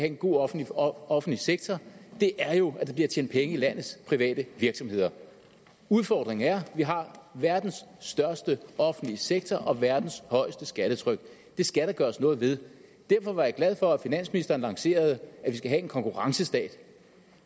en god offentlig offentlig sektor er jo at der bliver tjent penge i landets private virksomheder udfordringen er at vi har verdens største offentlige sektor og verdens højeste skattetryk det skal der gøres noget ved derfor var jeg glad for at finansministeren lancerede at vi skal have en konkurrencestat